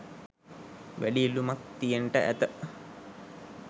වැඩි ඉල්ලුමක් තියෙන්ට ඇත